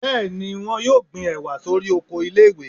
bẹẹni, wón yóò gbí ewá sorí ọkọ ilé ìwé